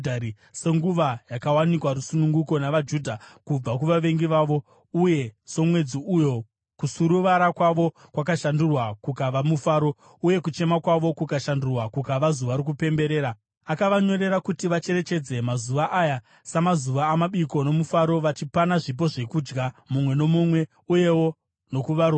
senguva yakawanikwa rusununguko navaJudha kubva kuvavengi vavo, uye somwedzi uyo kusuruvara kwavo kwakashandurwa kukava mufaro, uye kuchema kwavo kukashandurwa kukava zuva rokupembera. Akavanyorera kuti vacherechedze mazuva aya samazuva amabiko nomufaro vachipana zvipo zvezvokudya, mumwe nomumwe, uyewo nokuvarombo.